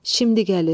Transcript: Şimdi gəlir.